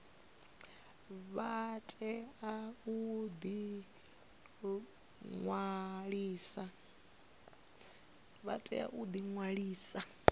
vha tea u ḓi ṅwalisa